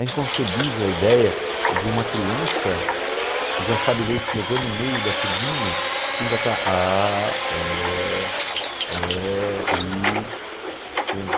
É inconcebível a ideia de uma criança, já sabe ler e escrever no meio da turminha, que ainda está a, e, e, i, entende?